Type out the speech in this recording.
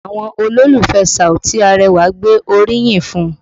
Àwọn olólùfẹ́ Saoti Arẹwà gbé orí yìn fún un